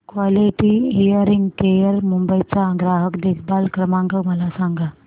quality hearing care Mumbai चा ग्राहक देखभाल क्रमांक मला सांगा